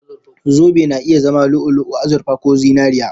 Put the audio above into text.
Zobe na iya zama lu'u-lu'u, azurfa ko zinariya